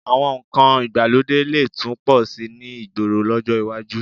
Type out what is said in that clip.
Àwọn nǹkan ìgbàlódé lè tún pọ̀ síi ní ìgboro lọ́jọ́ iwájú